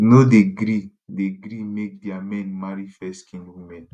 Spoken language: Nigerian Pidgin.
no dey gree dey gree make dia men marry fairskinned women